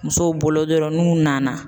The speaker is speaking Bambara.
Musow bolo dɔrɔn n'u nana